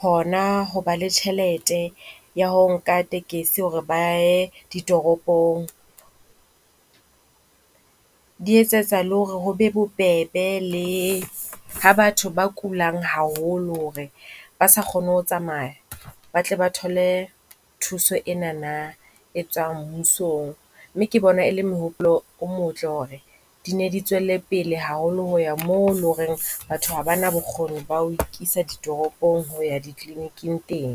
hona ho ba le tjhelete ya ho nka tekesi hore ba ye ditoropong. Di etsetsa le hore ho be bobebe le ha batho ba kulang haholo hore ha ba sa kgone ho tsamaya ba tle ba thole thuso enana, e tswang mmusong. Mme ke bona e le mehopolo o motle hore di ne di tswele pele haholo ho ya moo leng hore batho ha ba na bokgoni ba ho ikisa ditoropong ho ya di-clinic-ing teng.